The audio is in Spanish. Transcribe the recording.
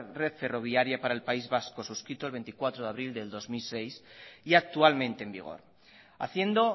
red ferroviaria para el país vasco suscrito el veinticuatro de abril del dos mil seis y actualmente en vigor haciendo